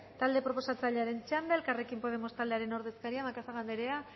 talde proposatzailearen txanda elkarrekin podemos taldeko ordezkaria macazaga andrea